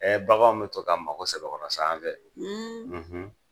Ɛɛ baganw be to ka mago sɛbɛkɔrɔ sa an fɛ